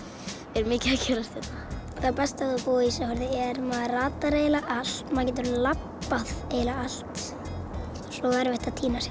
er mikið að gerast hérna það besta við að búa á Ísafirði er maður ratar eiginlega allt maður getur labbað eiginlega allt svo er erfitt að týna sér